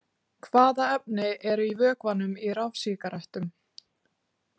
Hvaða efni eru í vökvanum í rafsígarettum?